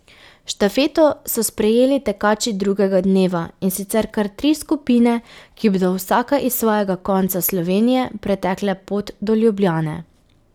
Štafeto so sprejeli tekači drugega dneva, in sicer kar tri skupine, ki bodo vsaka iz svojega konca Slovenije pretekle pot do Ljubljane.